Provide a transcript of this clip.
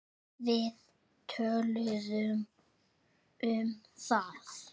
Við töluðum um það.